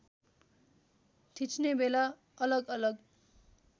खिच्ने बेला अलगअलग